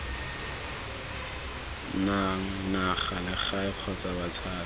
nang naga legae kgotsa batshabi